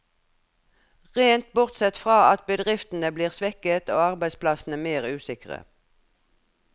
Rent bortsett fra at bedriftene blir svekket, og arbeidsplassene mer usikre.